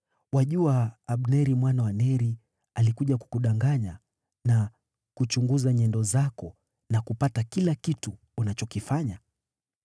Wajua Abneri mwana wa Neri alikuja kukudanganya na kuchunguza nyendo zako na kupata kila kitu unachokifanya.”